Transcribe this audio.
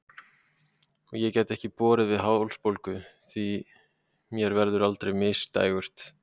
Og ég gæti ekki borið við hálsbólgu, því mér verður aldrei misdægurt.